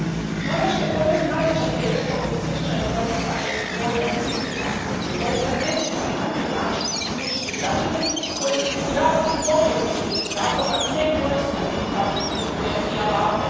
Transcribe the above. No, ono što je po meni najveća vrijednost ovog izvješća jest promicanje dvojnog pristupa jer doista ne smijemo ni na koji način isključiti građane koji iz raznih objektivnih razloga ne koriste digitalne usluge i alate.